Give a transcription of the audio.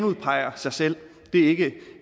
udpeger sig selv det er ikke